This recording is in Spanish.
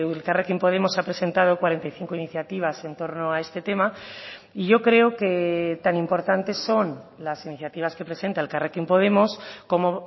elkarrekin podemos ha presentado cuarenta y cinco iniciativas en torno a este tema y yo creo que tan importante son las iniciativas que presenta elkarrekin podemos como